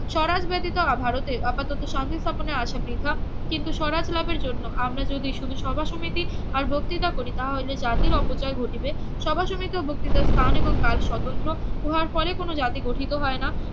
স্বরাজ ব্যতিত অভারতের আপাত সংযোগ স্থাপনে আসা বৃথা কিন্তু স্বরাজ লাভের জন্য আমরা যদি শুধু সভা সমিতি আর বক্তৃতা করি তাহা হইলে জাতির অপচয় ঘটিবে সভা সমিতি ও বক্তৃতার স্থান এবং কাল স্বতন্ত্র উহার পরে কোনো জাতি গঠিত হয়না